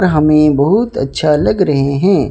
हमें बहुत अच्छा लग रहे हैं।